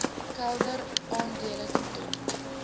kelder aandele ton